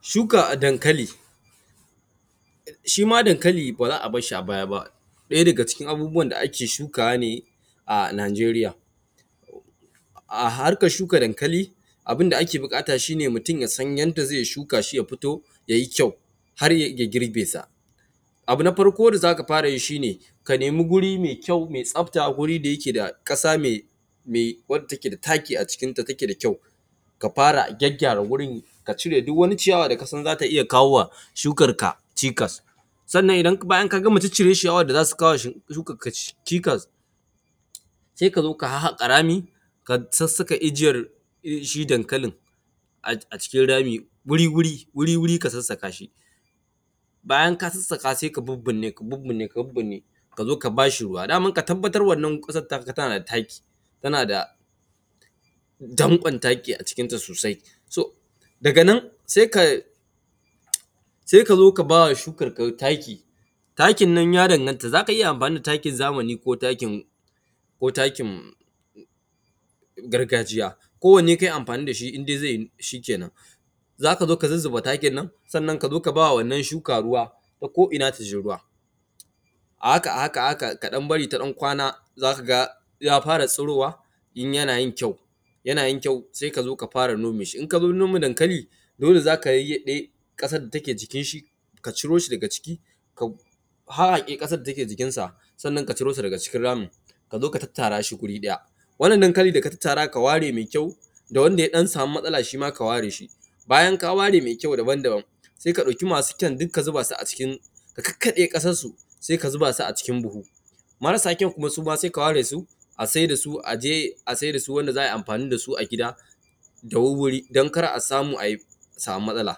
shukan dankali shi ma dankali ba za a barshi a baya ba ɗaya daga cikin abubuwan da ake shukawa ne a nijeriya a harkar shuka dankali abunda ake buƙata shi ne mutum yasan yanda zai shuka shi ya fito yayi kyau har ya iya girɓe sa abu na farko da zaka fara yi shi ne ka nemi guri mai kyau mai tsafta guri da yake da ƙasa mai mai wacce take da taki a cikin ta take da kyau ka fara gyaggyara gurin ka cire duk wani ciyawa da kasan zata iya kawowa shukar ka cikas sannan idan bayan ka gama cire ciyawar da zata kawo wa shukar ka cikas sai kazo ka haƙa rami ka sassaka jijiyar shi dankalin a cikin rami wuri wuri ka sassaka shi bayan ka sassaka sai ka bubburne kazo ka bashi ruwa domin ka tabbatar wannan ƙasar taka tana da taki tana da danƙon taki a cikinta sosai so daga nan sai ka zo ka bawa shukar ka taki takin nan ya danganta zaka iya amfani da takin zamani ko takin ko takin gargajiya kowane kayi amfani dashi inde zai yi shi kenan zaka zo ka zuzzuba takin nan sannan kazo ka bawa wannan shukan ruwa ta ko ina taji ruwa a haka a haka kaɗan bari ta ɗan kwana zaka ga ya fara tsurowa kuma yana yin kyau sai kazo ka fara nome shi in kazo nome dankali dole zaka yayyaɓe ƙasar da take jikin sa ka ciro shi daga ciki ka haƙe ƙasar data ke jikin sa sannan ka ciro shi daga cikin ramin kazo ka tattara shi wuri ɗaya wannan dankali da ka tattara ka ware mai kyau da wanda ya ɗan samu matsala shi ma ka ware shi bayan ka ware mai kyau da wanda sai ka ɗauki masu kyau duk ka zuba su a cikin ka kakkaɓe ƙasan su sai ka zuba su a cikin buhu marasa kyau kuma su ma sai ka ware su a saida su aje a saida su wanda za ayi amfani dasu a gida da wuri-wuri don kada a samu ayi a samu matsala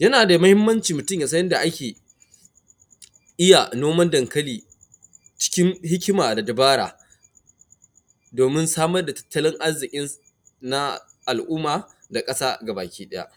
yana da muhimmanci mutum ya san inda ake iya noman dankali cikin hikima da dabara domin samar da tattalin arzikin na al’umma da ƙasa gabaki ɗaya